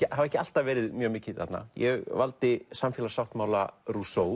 hafa ekki alltaf verið mjög mikið þarna ég valdi samfélagssáttmála